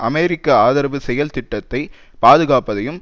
அமெரிக்க ஆதரவு செயல் திட்டத்தை பாதுகாப்பதையும்